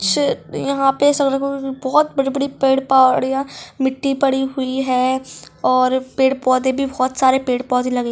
she यहाँ पे बहुत बड़ी-बड़ी पेड़ पहाड़ियाँ मिट्टी पड़ी हुई है और पेड़-पौधे भी बहुत सारे पेड़-पौधे लगे --